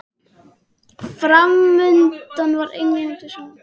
Framundan var England, við hlið hans faðir hans